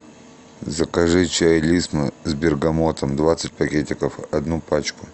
закажи чай лисма с бергамотом двадцать пакетиков одну пачку